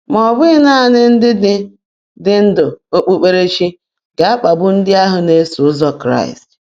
Ma ọ bụghị naanị ndị ndị ndu okpukperechi ga-akpagbu ndị ahụ na-eso ụzọ Kraịst.